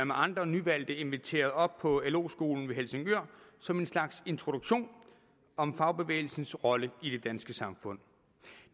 med andre nyvalgte inviteret op på lo skolen ved helsingør som en slags introduktion om fagbevægelsens rolle i det danske samfund